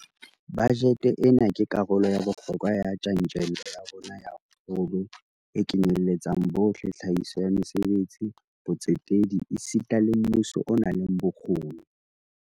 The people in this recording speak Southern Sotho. Bajete ena ke karolo ya bohlokwa ya tjantjello ya rona ya kgolo e kenyeletsang bohle, tlhahiso ya mesebetsi, botsetedi esita le mmuso o nang le bokgoni.